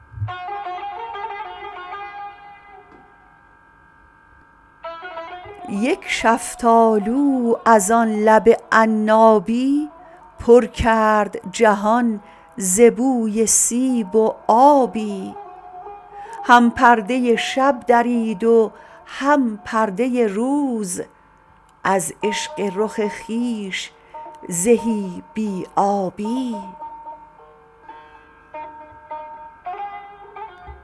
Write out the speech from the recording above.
یک شفتالو از آن لب عنابی پر کرد جهان ز بوی سیب و آبی هم پرده شب درید و هم پرده روز از عشق رخ خویش زهی بی آبی